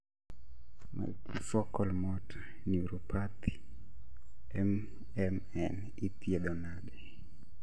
Multifocal motor neuropathy (MMN) ithiedho nade